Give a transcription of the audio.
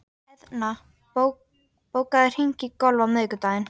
Eðna, bókaðu hring í golf á miðvikudaginn.